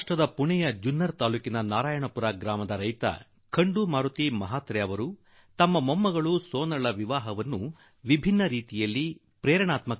ಮಹಾರಾಷ್ಟ್ರದ ಪುಣೆಯ ಜುನ್ನರ್ ತಾಲೂಕಿನ ನಾರಾಯಣಪುರ ಗ್ರಾಮದ ರೈತ ಖಂಡು ಮಾರುತಿ ಮಹಾತ್ರೆ ಅವರು ತಮ್ಮ ಮೊಮ್ಮಗಳು ಸೋನಾಲ್ ಮದುವೆಯನ್ನು ಒಂದು ದೊಡ್ಡ ಸ್ಫೂರ್ತಿದಾಯಕ ರೀತಿಯಲ್ಲಿ ನೆರವೇರಿಸಿದರು